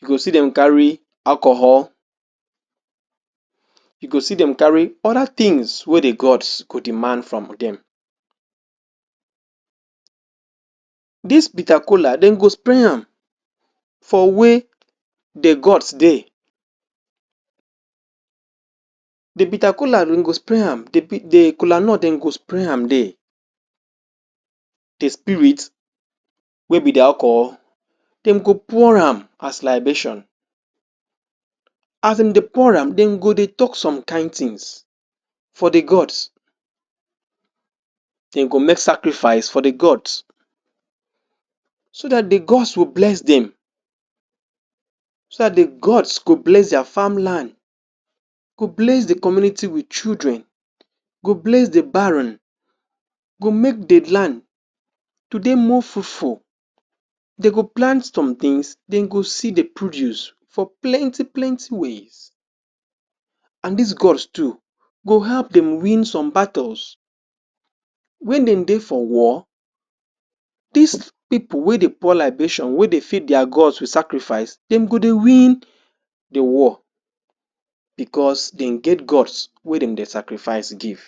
you go see dem carry alcohol you go see dem carry other things wey dey God go demand from them this bitter kola dem go spray am for where the Gods dey the bitter kola dem go spray am the. the kolanut dem go spray am there the spirit wey be dey alcohol dem go pour am as libation as dem dey pour am dem go dey talk some kind things for the Gods dem go make sacrifice for the Gods so that the Gods go bless dem so that the gods go bless their farmland go bless the community with children go bless the barren go make the land to dey more fruitfull dey go plant some things dem go see the produce of plenty plenty way and this Gods Too go help them win some battles wen dem dey for war this people wey dey pour libation wey dey feed their god with sacrifice dem go dey win the war because dem get Gods wey dem dey sacrifice give